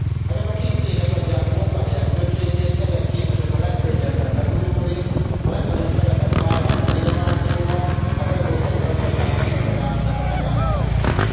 Ezek a kis cégek adják a munkahelyek többségét, ezek képesek a legkönnyebben megújulni, a legnagyobb szerepet vállalni az innovációban, az európai gazdaság leszakadásának a megállításában.